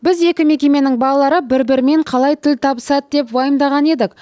біз екі мекеменің балалары бір бірімен қалай тіл табысады деп уайымдаған едік